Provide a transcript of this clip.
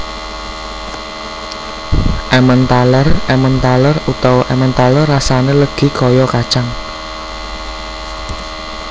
Emmenthaler emmenthaler utawa emmentaler Rasane legi kaya kacang